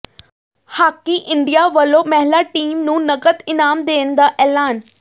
hockey India ਵੱਲੋਂ ਮਹਿਲਾ team ਨੂੰ ਨਕਦ ਇਨਾਮ ਦੇਣ ਦਾ ਐਲਾਨ